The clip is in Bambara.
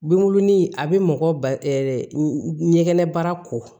Binkurunin a bi mɔgɔ ba ɲɛgɛn baara ko